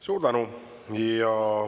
Suur tänu!